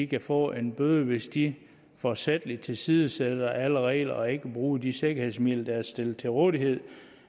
kan få en bøde hvis de forsætligt tilsidesætter alle regler og ikke bruger de sikkerhedsmidler der er stillet til rådighed